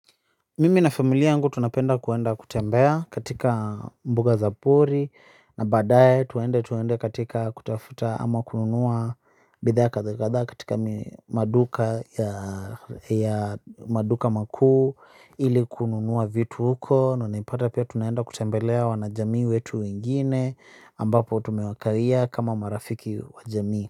Mimi na familia yangu tunapenda kwenda kutembea katika mbuga za pori. Na baadaye twende twende katika kutafuta ama kununua bidhaa kadha kadha katika maduka makuu ili kununua vitu huko. Na naipata pia tunaenda kutembelea wanajamii wetu wengine ambapo tumewakawia kama marafiki wajamii.